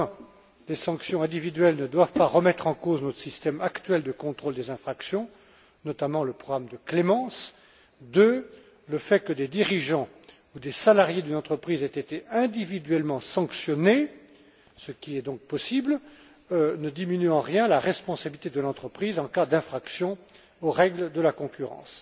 Premièrement, les sanctions individuelles ne doivent pas remettre en cause notre système actuel de contrôle des infractions, notamment le programme de clémence. Deuxièmement, le fait que des dirigeants ou des salariés d'une entreprise aient été individuellement sanctionnés, ce qui est donc possible, ne diminue en rien la responsabilité de l'entreprise en cas d'infraction aux règles de la concurrence.